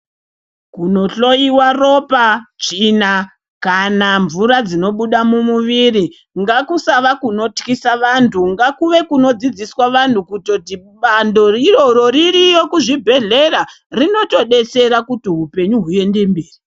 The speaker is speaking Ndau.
Kunohloyiwa ropa, tsvina kana mvura dzinobuda mumuviri, ngakusava kunotyisa vantu, ngakuve kunodzidziswa vantu kuti bando iroro ririyo kuzvibhedhlera, rinotodetsera kuti upenyu huende mberi.